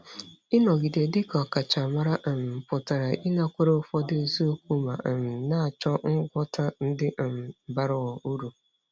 Ịnọgide dị ka ọkachamara um pụtara ịnakwere ụfọdụ eziokwu ma um na-achọ ngwọta ndị um bara uru.